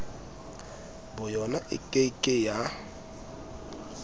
boyona e ke ke ya